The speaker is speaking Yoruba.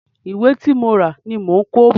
Ìwé tí mo rà ni mò ń kó bọ̀.